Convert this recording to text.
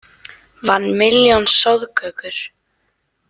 Vann milljón soðkökur